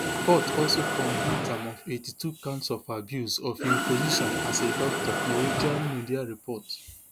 court also convict am of eighty-two counts of abuse of im position as a doctor norwegian media report